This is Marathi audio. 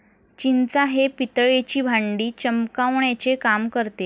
चिंचा हे पितळेची भांडी चमकावण्याचे काम करते.